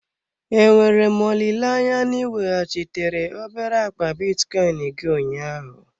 Enwere m olileanya na ị weghachitere obere akpa bitcoin gị ụnyaahụ?